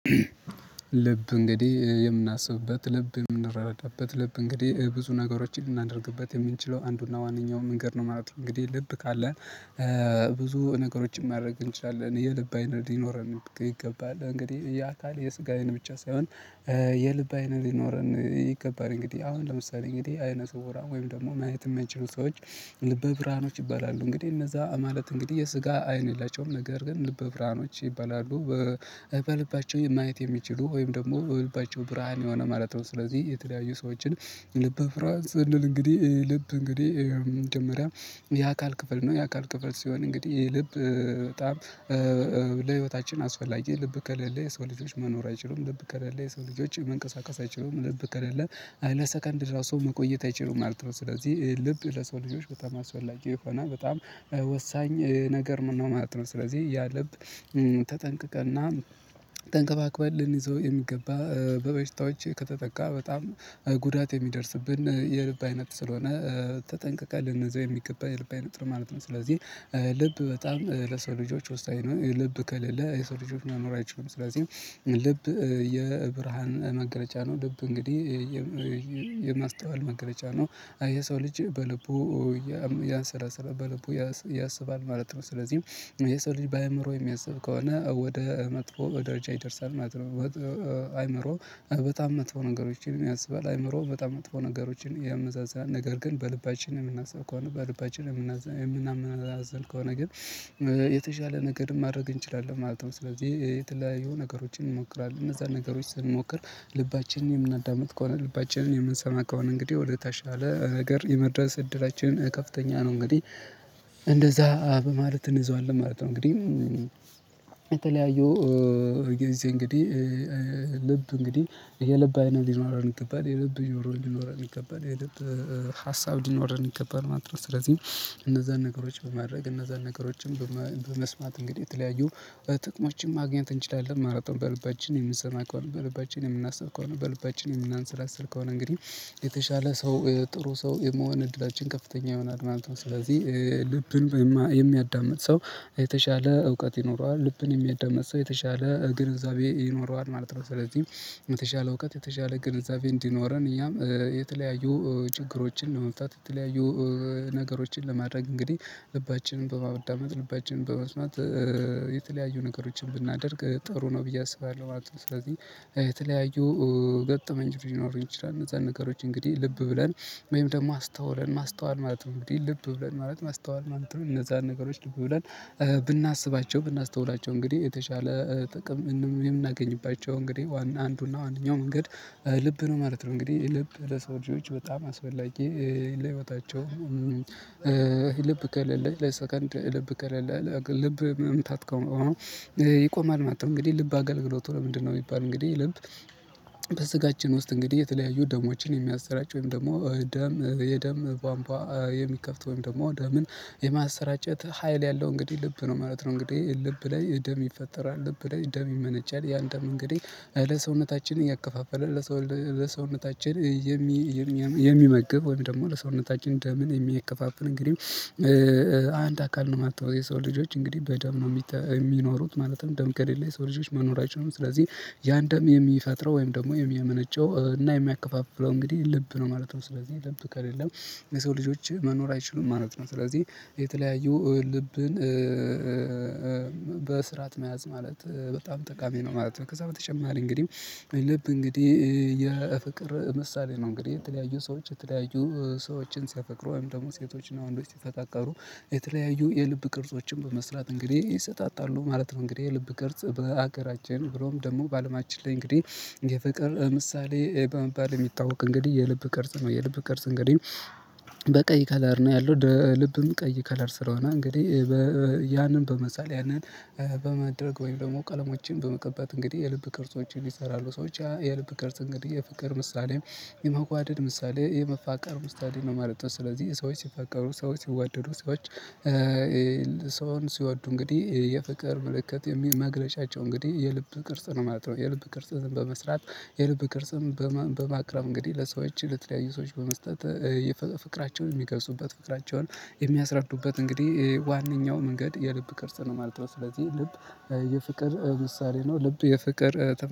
ልብ እንግዲህ የምናስብበት ልብ የምንረዳበት ልብ እንግዲህ ብዙ ነገሮችን ልናደርግበት የምንችለው አንዱና ዋነኛው መንገድ ነው ማለት ነው እንግዲህ ልብ ካለ። ብዙ ነገሮችን ማድረግ እንችላለን የልብ አይነት ሊኖረን ይገባል እንግዲህ የአካል የስጋዬን ብቻ ሳይሆን የልብ አይነት ሊኖረን ይገባል። እንግዲህ አሁን ለምሳሌ እንግዲህ አይነት እውራ ወይም ደግሞ ማየት የማይችሉ ሰዎች ልበ ብርሃኖች ይባላሉ እንግዲህ እነዛ ማለት እንግዲህ የስጋ አይን የላቸውም ነገር ግን ልበ ብርሃኖች ይባላሉ። በልባቸው ማየት የሚችሉ ወይም ደግሞ በልባቸው ብርሃን የሆነ ማለት ነው። ስለዚህ የተለያዩ ሰዎችን ልበ ፍርሃት ስንል እንግዲህ ልብ እንግዲህ መጀመሪያ የአካል ክፍል ነው የአካል ክፍል ሲሆን እንግዲህ ይህ ልብ። በጣም ለህይወታችን አስፈላጊ ልብ ከሌለ የሰው ልጆች መኖር አይችሉም ልብ ከሌለ የሰው ልጆች መንቀሳቀስ አይችሉም ልብ ከሌለ። ለሰከንድ ራሱ መቆየት አይችሉም ማለትነው ስለዚህ ልብ ለሰው ልጆች በጣም አስፈላጊ የሆነ በጣም ወሳኝ ነገር ነው ማለት ነው። ስለዚህ ልብ ተጠንቅቀና ተንከባክበን ልንይዘው የሚገባ በበሽታዎች ከተጠቃ በጣም ጉዳት የሚደርስብን የልብ አይነት ስለሆነ። ተጠንቅቀን ልንይዘው የሚገባ የልብ አይነት ነው ማለት ነው። ስለዚህ ልብ በጣም ለሰው ልጆች ውስጣዊ ነው ልብ ከሌለ የሰው ልጆች መኖር አይችሉም። ስለዚህ ልብ የብርሃን መገለጫ ነው ልብ እንግዲህ የማስተዋል መገለጫ ነው። የሰው ልጅ በልቡ እያንሰላሰለ በልቡ ያሰባል ማለት ነው። ስለዚህ የሰው ልጅ በአእምሮ የሚያስብ ከሆነ ወደ መጥፎ በደረጃ ይደርሳል። አይምሮ በጣም መጥፎ ነገሮችን ያስባል አይምሮ በጣም መጥፎ ነገሮችን ያመዛዝናል ነገር ግን በልባችን የምናስብ ከሆነ በልባችን የምናመዛዝን ከሆነ ግን የተሻለ ነገር ማድረግ እንችላለን ማለት ነው። ስለዚህ የተለያዩ ነገሮችን እንሞክራለን እነዛን ነገሮች ስንሞክር ልባችንን የምናዳምጥ ከሆነ ልባችንን የምንሰማ ከሆነ እንግዲህ ወደተሻለ ነገር የመድረስ እድላችንን ከፍተኛ ነው። እንግዲህ እንደዛ በማለት እንይዘዋለን ማለት ነው። እንግዲህ የተለያዩ ጊዜ እንግዲህ ልብ እንግዲህ የልብ አይነት ሊኖረን ይገባል የልብ ሊኖረን ይገባል የልብጰሀሳብ እንዲኖረን ይገባል ማለት ነው። ስለዚህ እነዛን ነገሮች በማድረግ እነዛን ነገሮችን በመስማት እንግዲህ የተለያዩ ጥቅሞችም ማግኘት እንችላለን ማለት ነው። በልባችን የምንሰማ ከሆነ በልባችን የምናስብ ከሆነ በልባችን የምናንሰላስል ከሆነ እንግዲህ የተሻለ ሰው ጥሩ ሰው የመሆን እድላችን ከፍተኛ ይሆናል ማለት ነው። ስለዚህ ልብን የሚያዳምጥ ሰው የተሻለ እውቀት ይኖረዋል ልብን የሚያዳምጥ ሰው የተሻለ ግንዛቤ ይኖረዋል ማለት ነው። ስለዚህ የተሻለ እውቀት የተሻለ ግንዛቤ እንዲኖረን እያም የተለያዩ ችግሮችን ለመምፍታት የተለያዩ ነገሮችን ለማድረግ እንግዲህ ልባችንን በማዳመጥ ልባችንን በመስማት የተለያዩ ነገሮችን ብናደርግ ጥሩ ነው ብዬ አስባለሁ ማለት ነው። ስለዚህ የተለያዩ ገጠመኞች ሊኖሩ ይችላሉ እነዛን ነገሮች እንግዲህ ልብ ብለን ወይም ደግሞ አስተውለን ማስተዋል ማለት ነው። እንግዲህ ልብ ብለን ማለት ማስተዋል ማሉትም እነዛን ነገሮች ልብ ብለን ብናስባቸው ብናስተውላቸው እንግዲህ የተሻለ ጥቅም የምናገኝባቸው እንግዲህ ዋና አንዱና ዋነኛው መንገድ ልብ ነው ማለት ነው። እንግዲህ ልብ ለሰው ልጆች በጣም አስፈላጊ ለህይወታቸው ልብ ከለለ ለሰከንድ ልብ ከሌለ። ልብ መምታት ይቆማል ማለት ነው። እንግዲህ ልብ አገልግሎቱ ለምንድነው? ሚባል እንግዲህ ልብ በስጋችን ውስጥ እንግዲህ የተለያዩ ደሞችን የሚያሰራጭ ወይም ደግሞ ደም የደም ባምባ የሚከፍት ወይም ደግሞ ደምን የማሰራጨት ሀይል ያለው እንግዲህ ልብ ነው ማለት ነው። እንግዲህ ልብ ላይ ደም ይፈጠራል ልብ ላይ ደም ይመነጫል ያን ደም እንግዲህ ለሰውነታችን እያከፋፈለ ለሰው ለሰውነታችን የሚመግብ ወይም ደግሞ ለሰውነታችን ደምን የሚያከፋፍል እንግዲህ አንድ አካል ነው ማለት ነው። የሰው ልጆች እንግዲህ በደም ነው የሚኖሩት ማለትም ደም ከሌለ የሰው ልጆች መኖራቸውን ስለዚህ ያን ደም የሚፈጥረው ወይም ደግሞ የሚያመነጨው እና የሚያከፋፍለው እንግዲህ ልብ ነው ማለት ነው። ስለዚህ ልብ ከሌለም የሰው ልጆች መኖር አይችሉም ማለት ነው። ስለዚህ የተለያዩ ልብን በስርዓት መያዝ ማለት በጣም ጠቃሚ ነው ማለት ነው። ከዛ በተጨማሪ እንግዲህ ልብ እንግዲህ የፍቅር ምሳሌ ነው። እንግዲህ የተለያዩ ሰዎች የተለያዩ ሰዎችን ሲያፈቅሩ ወይም ደግሞ ሴቶችና ወንዶች ሲፈቃቀሩ የተለያዩ የልብ ቅርጾችን በመስራት እንግዲህ ይሰጣጣሉ ማለትም እንግዲህ የልብ ቅርጽ በሀገራችን ብሎም ደግሞ በአለማችን ላይ እንግዲህ የፍቅር ምሳሌ በመባል የሚታወቅ እንግዲህ የልብ ቅርጽ ነው። የልብ ቅርጽ እንግዲህ በቀይ ከለር ነው። ያለው ልብም ቀይ ከለር ስለሆነ እንግዲህ ያንን በመሳል ያንን በማድረግ ወይም ደግሞ ቀለሞችን በመቀባት እንግዲህ የልብ ቅርጾችን ይሰራሉ ሰዎች ያ የልብ ቅርጽ እንግዲህ የፍቅር ምሳሌም የመዋደድ ምሳሌ የመፋቀር ምሳሌ ነው ማለት ነው። ስለዚህ ሰዎች ሲፈቀሩ ሰዎች ሲዋደዱ ሰዎች ሰውን ሲዋዱ እንግዲህ የፍቅር ምልክት የሚል መግለጫቸው እንግዲህ የልብ ቅርጽ ነው ማለት ነው። የልብ ቅርጽ በመስራት የልብ ቅርጽም በማቅረብ እንግዲህ ለሰዎች ለተለያዩ ሰዎች በመስጠት የፍቅራቸውን የሚገልጹበት ፍቅራቸውን የሚያስረዱበት እንግዲህ ዋነኛው መንገድ የልብ ቅርጽ ነው ማለት ነው። ስለዚህ ልብ የፍቅር ውሳኔ ነው። ልብ የፍቅር